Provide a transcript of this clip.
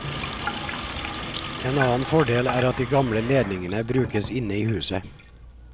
En annen fordel er at de gamle ledningene brukes inne i huset.